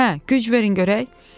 Hə, güc verin görək.